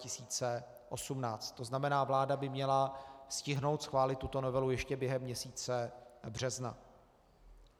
To znamená, vláda by měla stihnout schválit tuto novelu ještě během měsíce března.